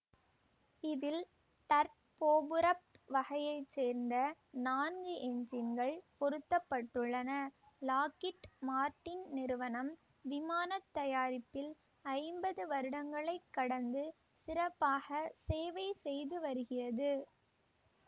இதில் டர்போபுரொப் வகையை சேர்ந்த நான்கு எஞ்சின்கள் பொருத்த பட்டுள்ளன லாக்கிட் மார்டின் நிறுவனம் விமான தயாரிப்பில் ஐம்பது வருடங்களைக் கடந்து சிறப்பாக சேவை செய்துவருகிறது